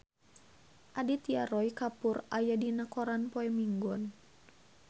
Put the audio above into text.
Aditya Roy Kapoor aya dina koran poe Minggon